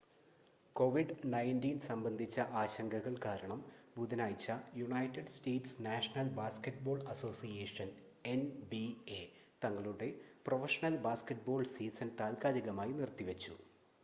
covid-19 സംബന്ധിച്ച ആശങ്കകൾ കാരണം ബുധനാഴ്ച United States National Basketball Association NBA തങ്ങളുടെ പ്രൊഫഷണൽ ബാസ്‌ക്കറ്റ്ബോൾ സീസൺ താൽക്കാലികമായി നിർത്തിവച്ചു